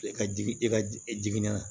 I ka jigi i ka jigi n'a la